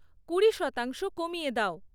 কুড়ি শতাংশ কমিয়ে দাও